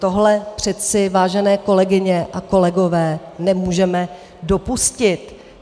Tohle přece, vážené kolegyně a kolegové, nemůžeme dopustit.